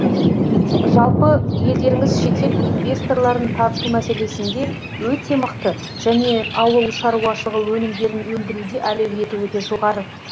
жалпы елдеріңіз шетел инвесторларын тарту мәселесінде өте мықты және ауыл шаруашылығы өнімдерін өндіруде әлеуеті өте жоғары